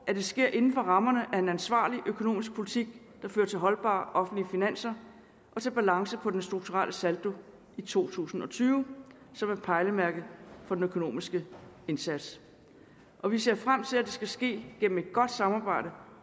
at det sker inden for rammerne af en ansvarlig økonomisk politik der fører til holdbare offentlige finanser og til balance på den strukturelle saldo i to tusind og tyve som er pejlemærket for den økonomiske indsats og vi ser frem til at det skal ske gennem et godt samarbejde